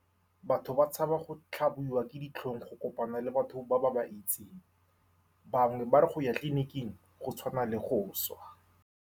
Batho ba tshaba go tlhabiwa ke ditlhong, go kopana le batho ba-ba-ba itseng. Ba bangwe ba re go ya tleliniking go tshwana le go swa.